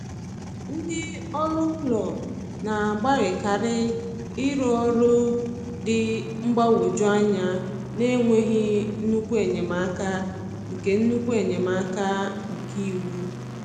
Ndị ọrụ ụlọ na-agbalịkarị ịrrụ ọrụ dị mgbagwoju anya n’enweghị nnukwu enyemaka nke nnukwu enyemaka nke iwu.